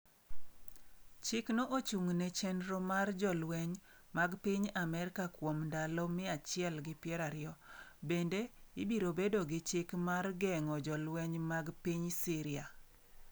Chikno ochung’ ne chenro mar jolweny mag piny Amerka kuom ndalo 120. Bende, ibiro bedo gi chik mar geng’o jolweny mag piny Siria.